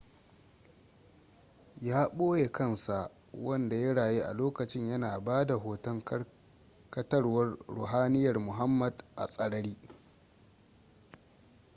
ya ɓoye kansa wanda ya rayu a lokacin yana ba da hoton karkatawar ruhaniyar muhammad a tsarari